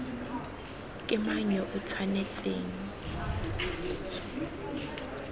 ke mang yo o tshwanetseng